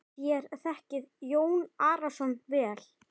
Þér þekkið Jón Arason vel.